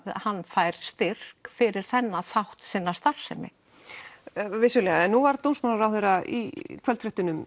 hann fær styrk fyrir þennan þátt sinnar starfsemi vissulega en nú var dómsmálaráðherra í kvöldfréttunum